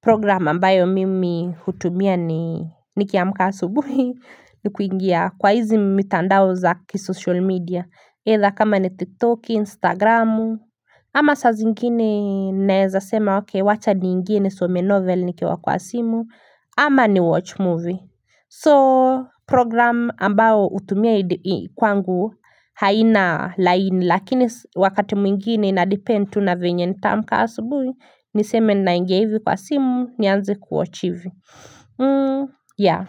Programu ambayo mimi hutumia ni nikiwa mkasa ubuhi ni kuingia kwa hizi mitandao za kisocial media edha kama ni tiktok instagramu ama sa zingine naezasema wake wacha ni ingine some novel nikiwa kwa simu ama ni watch movie so program ambao utumia kwangu haina lain lakini wakati mwingine inadipend una venye ni tam kaa subuhi niseme na inge hivi kwa simu nianze kuoachive ya.